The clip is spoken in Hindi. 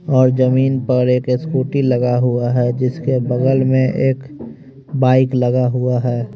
और जमीन पर एक स्कूटी लगा हुआ है जिसके बगल में एक बाइक लगा हुआ है।